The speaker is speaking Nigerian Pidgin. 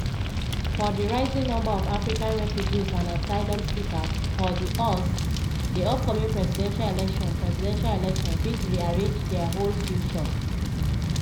for di rising number of african refugees and asylum seekers for di us di upcoming presidential election presidential election fit rearrange dia whole future.